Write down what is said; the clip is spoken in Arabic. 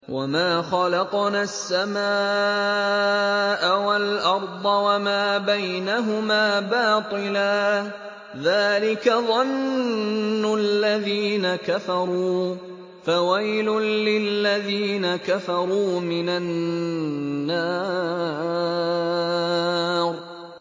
وَمَا خَلَقْنَا السَّمَاءَ وَالْأَرْضَ وَمَا بَيْنَهُمَا بَاطِلًا ۚ ذَٰلِكَ ظَنُّ الَّذِينَ كَفَرُوا ۚ فَوَيْلٌ لِّلَّذِينَ كَفَرُوا مِنَ النَّارِ